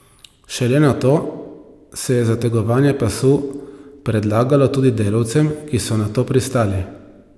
Šele nato se je zategovanje pasu predlagalo tudi delavcem, ki so na to pristali.